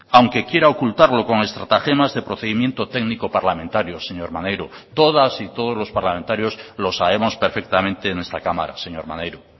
aunque quiera ocultarlo con estratagemas de procedimiento técnico parlamentario señor maneiro todas y todos los parlamentarios lo sabemos perfectamente en esta cámara señor maneiro